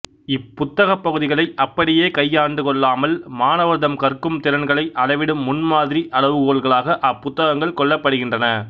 இப்புத்தகப் பகுதிகளை அப்படியே கையாண்டு கொள்ளாமல் மாணவர்தம் கற்கும் திறன்களை அளவிடும் முன்மாதிரி அளவுகோல்களாக அப்புத்தகங்கள் கொள்ளப்படுகின்றன